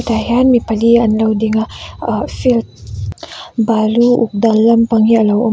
tah hian mi pali an lo ding a ahh field balu uk dal lampang hi a lo awm a.